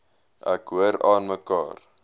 ek hoor aanmekaar